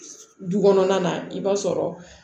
Du kɔnɔna na i b'a sɔrɔ